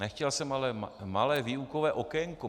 Nechtěl jsem, ale malé výukové okénko.